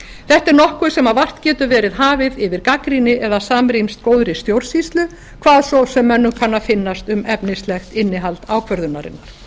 þetta er nokkuð sem vart getur verið hafi yfir gagnrýni eða samrýmst góðri stjórnsýslu hvað svo sem mönnum kann að finnast um efnislegt innihald ákvörðunarinnar